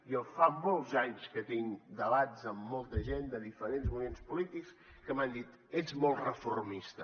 jo fa molts anys que tinc debats amb molta gent de diferents moviments polítics que m’han dit ets molt reformista